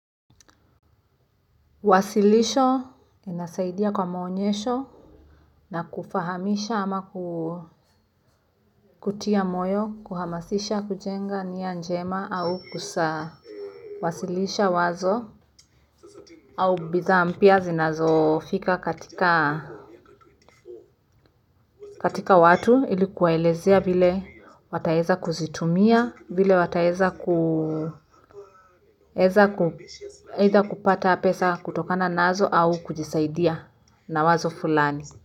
Wasilisho, inasaidia kwa maonyesho na kufahamisha ama kutia moyo, kuhamasisha, kujenga, niya njema au kusawasilisha wazo au bidhaa mpya zinazofika katika watu ili kuwaelezea vile wataeza kuzitumia vile wataeza kupata pesa kutokana nazo au kujisaidia na wazo fulani.